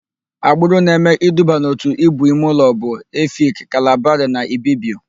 Agbụrụ na-eme iduba n'òtù Íbù imeụlọ bụ: Efik, Kalabarị na Ibibio.